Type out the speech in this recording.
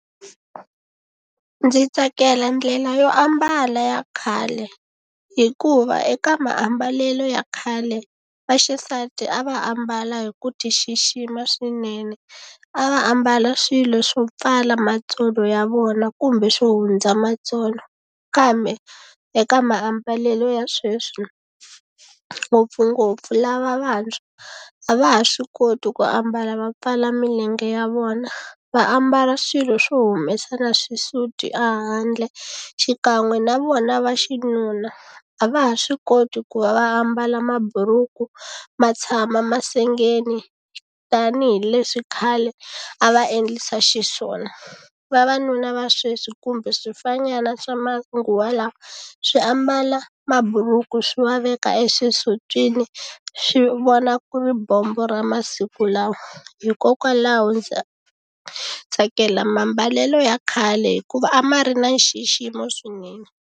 Ndzi tsakela ndlela yo ambala ya khale hikuva eka maambalelo ya khale vaxisati a va ambala hi ku ti xixima swinene a va ambala swilo swo pfala matsolo ya vona kumbe swo hundza matsolo kambe eka mambalelo ya sweswi ngopfungopfu lava vantshwa a va ha swi koti ku ambala va pfala milenge ya vona va ambala swilo swo humesa na xisuti a handle xikan'we na vona va xinuna a va ha swi koti ku va va ambala maburuku ma tshama masengeni tanihileswi khale a va endlisa xiswona vavanuna va sweswi kumbe swifanyana swa manguva lawa swi ambala maburuku swi va veka exisutwini swi vona ku ri bombo ra masiku lawa hikokwalaho ndza tsakela mambalelo ya khale hikuva a ma ri na nxiximo swinene.